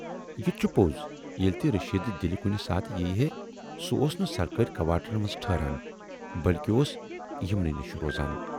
" یِتہٕ چھُ پوز ییلہِ تہِ رشید دِلہِ کُنہِ ساتہٕ یِیہِ ہے سُہ اوس نہٕ سرکٲرۍ کواٹرن منز ٹھٕہران بٔلۍکہِ اوس یِمنٕے نِش روزان۔